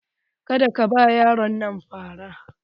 Ka da ka ba yaron nan fara!